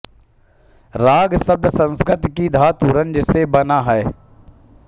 राग शब्द संस्कृत की धातु रंज से बना है